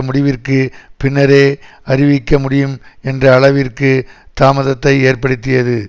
முடிவிற்கு பின்னரே அறிவிக்க முடியும் என்ற அளவிற்கு தாமதத்தை ஏற்படுத்தியது